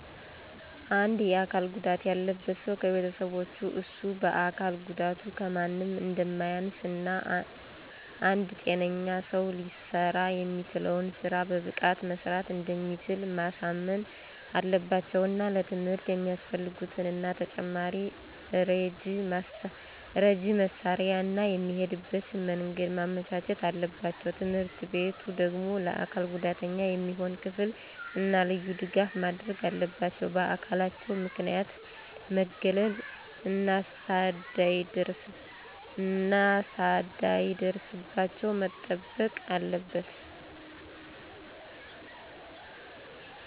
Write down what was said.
አንድ የአካል ጉዳት ያለበት ሠው ከቤተሠቦቹ እሱ በአካል ጉዳቱ ከማንም አንደማያንስ እና አንድ ጤነኛ ሰው ሊሠራ የሚችለውን ስራ በብቃት መስራት እንደሚችል ማሳመን አለባቸው። እና ለትምህርት የሚያፈልጉትን እና ተጨማሪ ረጂ መሳሪያ እና የሚሄድበትን መንገድ ማመቻቸት አለባቸው። ትምህርትቤቱ ደግሞ ለአካል ጉዳተኛ የሚሆን ክፍል እና ልዩ ድጋፍ ማድረግ አለባቸው። በአካላቸው ምክንያት መገለል እነሰዳይደርስባቸው መጠበቅ አለበት።